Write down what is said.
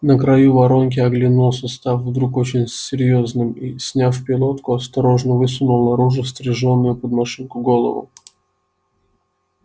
на краю воронки оглянулся став вдруг очень серьёзным и сняв пилотку осторожно высунул наружу стрижённую под машинку голову